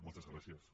moltes gràcies